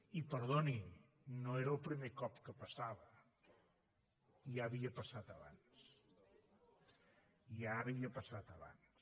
i perdoni no era el primer cop que passava ja havia passat abans ja havia passat abans